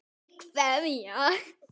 Fyrir hverja